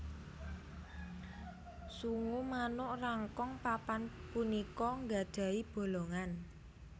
Sungu manuk Rangkong papan punika nggadhahi bolongan